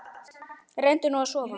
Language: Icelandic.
Reyndu nú að sofna.